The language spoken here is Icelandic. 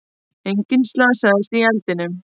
Enginn slasaðist í eldinum